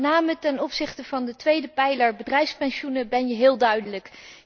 Met name ten opzichte van de tweede pijler bedrijfspensioenen ben je heel duidelijk.